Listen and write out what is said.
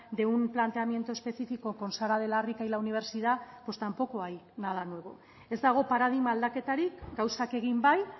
de un planteamiento específico con sara de la rica y la universidad pues tampoco hay nada nuevo ez dago paradigma aldaketarik gauzak egin bai